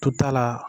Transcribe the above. Tota la